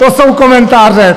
To jsou komentáře!